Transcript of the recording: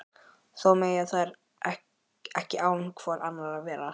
Þó mega þær ekki án hvor annarrar vera.